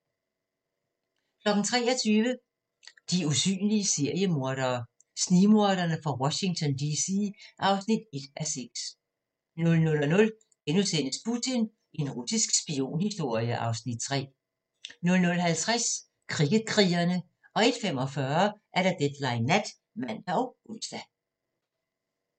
23:00: De usynlige seriemordere: Snigmorderne fra Washington D.C. (1:6) 00:00: Putin – en russisk spionhistorie (Afs. 3)* 00:50: Kricket-krigerne 01:45: Deadline Nat (man og ons)